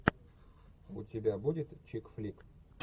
у тебя будет чик флик